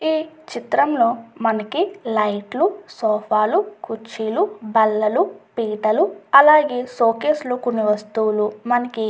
ఈ చిత్రం లో మనకి లైట్ లు సోఫా లు కుర్చీలు బల్లలు పీటలు అలాగే షో కేసు లో కొన్ని వస్తువులు మనకి --